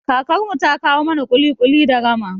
Kakar mu ta kawo mana ƙuli-ƙuli da rama